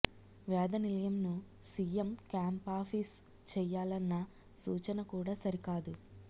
వేద నిలయంను CM camp office చేయా లన్న సూచన కూడా సరికాదు